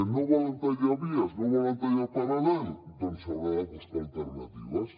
no volen tallar vies no volen tallar paral·lel doncs s’hauran de buscar alternatives